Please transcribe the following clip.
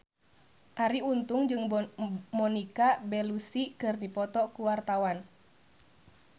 Arie Untung jeung Monica Belluci keur dipoto ku wartawan